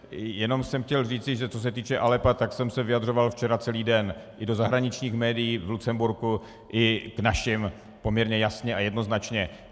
Jenom jsem chtěl říci, že co s týče Aleppa, tak jsem se vyjadřoval včera celý den, i do zahraničních médií, v Lucemburku, i k našim poměrně jasně a jednoznačně.